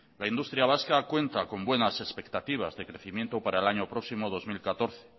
la industria vasca cuenta con buenas expectativas de crecimiento para el año próximo dos mil catorce